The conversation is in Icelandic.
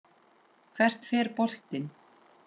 Hvert fer boltinn?